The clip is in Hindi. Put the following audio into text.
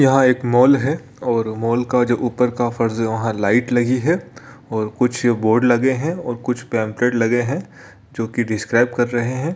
यहाँ एक मॉल है और मॉल का जो ऊपर का फर्श है वहाँ लाइट लगी है और कुछ बोर्ड लगे है और कुछ पम्पलेट लगे है जो की डिस्क्रिबे कर रहे है।